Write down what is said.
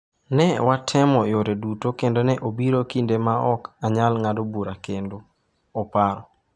"Ne watemo yore duto kendo ne obiro kinde ma ne ok anyal ng'ado bura kendo", oparo.